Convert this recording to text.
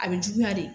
A bɛ juguya de